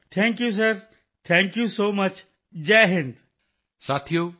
thank you sir thank you so much thank you sir thank you so much ਜੈ ਹਿੰਦ